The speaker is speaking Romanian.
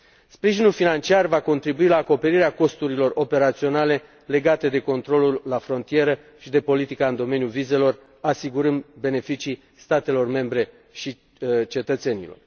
Sprijinul financiar va contribui la acoperirea costurilor operaționale legate de controlul la frontieră și de politica în domeniul vizelor, asigurând beneficii statelor membre și cetățenilor.